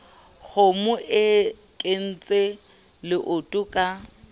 kgomo e kentse leoto ka